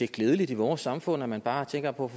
klædelig i vores samfund altså at man bare tænker på